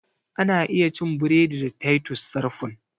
Ana iya cin buredi da titus sarfun